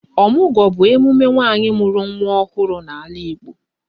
Ọmụgwọ bụ emume nwanyị mụrụ nwa ọhụrụ n'ala Igbo